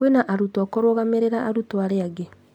Kwĩna arutwo kũrũgamĩrĩra arutwo arĩa angĩ